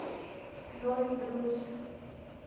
джой брюс